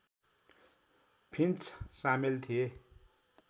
finch सामेल थिए